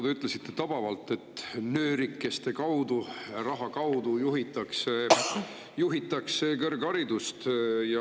Te ütlesite tabavalt, et nöörikeste kaudu, raha kaudu juhitakse kõrgharidust.